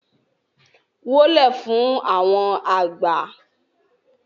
wólẹ̀ fún àwọn àgbà!